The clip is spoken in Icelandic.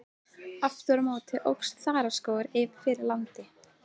Aftur á móti óx þaraskógur fyrir landi.